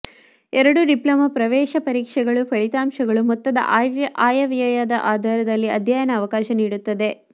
ಎರಡೂ ಡಿಪ್ಲೊಮಾ ಪ್ರವೇಶ ಪರೀಕ್ಷೆಗಳು ಫಲಿತಾಂಶಗಳು ಮೊತ್ತದ ಆಯವ್ಯಯದ ಆಧಾರದಲ್ಲಿ ಅಧ್ಯಯನ ಅವಕಾಶ ನೀಡುತ್ತದೆ